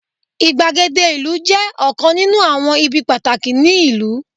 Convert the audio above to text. igbagede ìlú je ọkàn ninu awọn ibi pataki ni ìlú